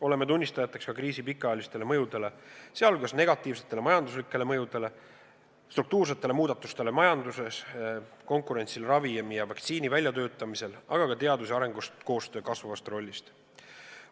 Oleme tunnistajateks ka kriisi pikaajalistele mõjudele, sh negatiivsetele majanduslikele mõjudele, struktuursetele muudatustele majanduses, konkurentsile ravimi ja vaktsiini väljatöötamisel, aga ka teadus- ja arenduskoostöö kasvavale rollile.